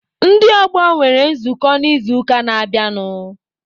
Ndị ọgbọ nwere nzukọ n'izuụka na-abịanụ.